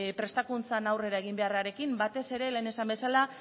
prestakuntzan aurrera egin beharrarekin batez ere lehen esan bezala